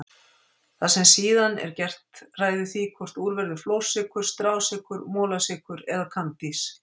Það sem síðan er gert ræður því hvort úr verði flórsykur, strásykur, molasykur eða kandís.